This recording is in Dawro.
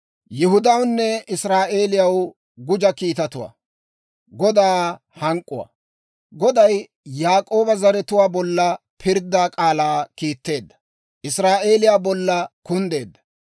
Goday Yaak'ooba zaratuwaa bolla pirddaa k'aalaa kiitteedda; Israa'eeliyaa bolla kunddeedda.